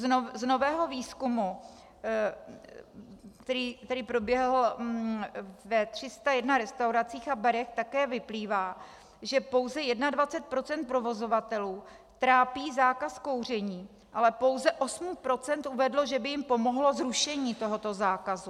Z nového výzkumu, který proběhl ve 301 restauracích a barech, také vyplývá, že pouze 21 % provozovatelů trápí zákaz kouření, ale pouze 8 % uvedlo, že by jim pomohlo zrušení tohoto zákazu.